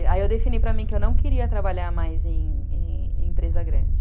Aí eu defini para mim que eu não queria trabalhar mais em em em empresa grande.